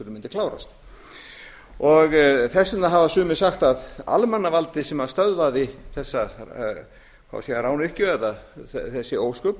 mundi klárast þess vegna hafa sumir sagt að almannavaldið sem stöðvaði þessa rányrkju eða þessi ósköp